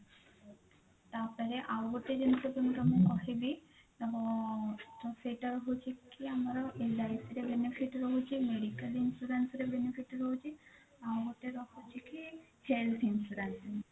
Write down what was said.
ତାପରେ ଆଉ ଗୋଟେ ଜିନିଷ କହିବି ତ ତ ସେଇଟା ହୋଉଛି ଆମର LIC ରେ benefit ରହୁଛି medical insurance ରେ benefit ରହୁଛି ଆଉ ଗୋଟେ ରହୁଛି କି health insurance